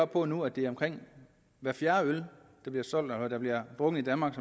på nu at det er omkring hver fjerde øl der bliver drukket i danmark